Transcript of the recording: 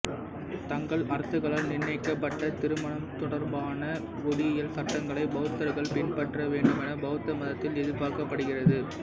தங்கள் அரசுகளால் நிர்ணயிக்கப்பட்ட திருமணம் தொடர்பான குடியியல் சட்டங்களை பௌத்தர்கள் பின்பற்ற வேண்டுமென பௌத்த மதத்தில் எதிர்பார்க்கப்படுகிறது